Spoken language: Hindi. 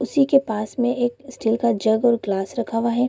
उसी के पास में एक स्टील का जग और गलास रखा हुआ है।